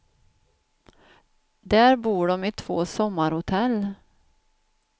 Där bor de i två sommarhotell.